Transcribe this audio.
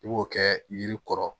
I b'o kɛ yiri kɔrɔ